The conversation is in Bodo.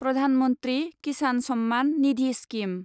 प्रधान मन्थ्रि किसान सम्मान निधि स्किम